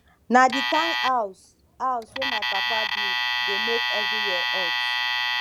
na di kind house house wey my papa build dey make everywhere hot